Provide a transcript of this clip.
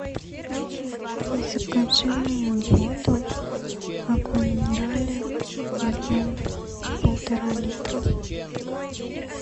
закажи мне воду аква минерале объем полтора литра